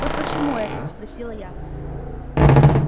вот почему это спросила я